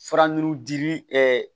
Fara n dimi